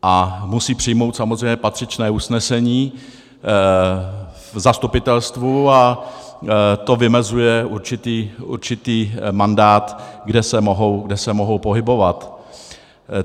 A musí přijmout samozřejmě patřičné usnesení v zastupitelstvu a to vymezuje určitý mandát, kde se mohou pohybovat.